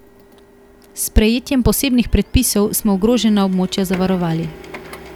S sprejetjem posebnih predpisov, smo ogrožena območja zavarovali.